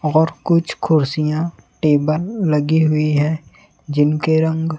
और कुछ कुर्सियां टेबल लगी हुई है जिनके रंग--